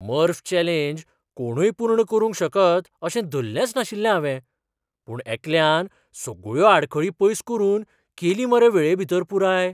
मर्फ challenge कोणूय पूर्ण करूंक शकत अशें धल्लेंच नाशिल्लें हावें. पूण एकल्यान सगळ्यो आडखळी पयस करून केली मरे वेळेभीतर पुराय!